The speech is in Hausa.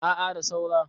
a a da saura